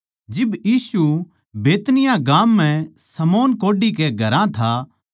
जिब यीशु बैतनिय्याह गाम म्ह शमौन कोढ़ी कै घरां था